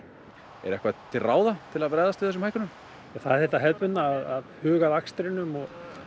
er eitthvað til ráða til að bregðast við þessum hækkunum það er þetta hefðbundna að huga að akstrinum og